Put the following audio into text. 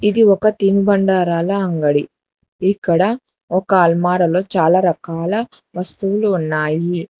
ఇది ఒక తినుబండారాలా అంగడి ఇక్కడ ఒక అల్మారలో చాలా రకాల వస్తువులు ఉన్నాయి.